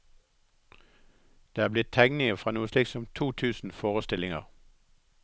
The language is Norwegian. Det er blitt tegninger fra noe slikt som to tusen forestillinger.